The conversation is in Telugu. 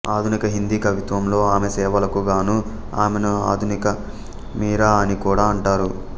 ఆధునిక హిందీ కవిత్వంలో ఆమె సేవలకు గాను ఆమెను ఆధునిక మీరా అని కూడా అంటారు